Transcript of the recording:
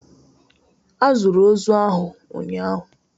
A zụrụ ozu ahụ ụnyahụ